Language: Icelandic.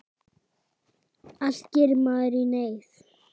Allt gerir maður í neyð.